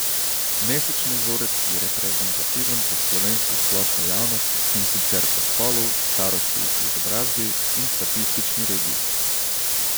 Mesečni vzorec je reprezentativen za slovensko splošno javnost, in sicer po spolu, starosti, izobrazbi in statistični regiji.